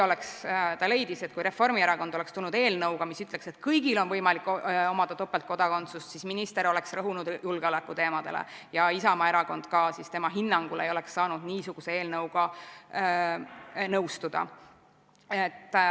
Ta leidis, et kui Reformierakond oleks tulnud eelnõuga, mis ütleks, et kõigil on võimalik omada topeltkodakondsust, siis minister oleks rõhunud julgeolekuteemadele ja Isamaa erakond ka ei oleks siis tema hinnangul saanud niisuguse eelnõuga nõustuda.